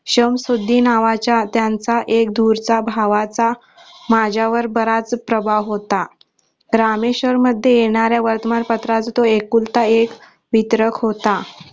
शंमशुद्धी नावाचा त्यांचा एक दूरचा भावाचा माझ्यावर बराच प्रभाव होता रामेश्वरमध्ये येणाऱ्या वर्तमान पत्राचा तो एकुलता एक वितरक होता.